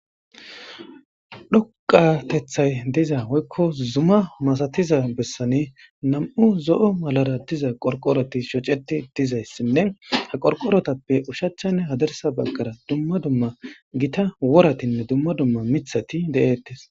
dhoqatethay diza woykko zuma masatiza bessane nam7u zo7o malara diza qorqoroti shoceti dizayssinne ha qorqorotappe ushachchanne hadarsa baggara dumma dumma gita woratinne dumma dumma mithati de7eettes